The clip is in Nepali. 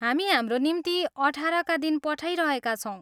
हामी हाम्रो निम्तो अठारका दिन पठाइरहेका छौँ।